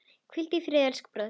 Hvíldu í friði, elsku bróðir.